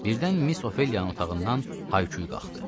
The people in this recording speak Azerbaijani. Birdən Miss Ofeliyanın otağından hay-küy qalxdı.